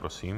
Prosím.